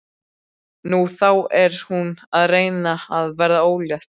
Nú, þá er hún að reyna að verða ólétt.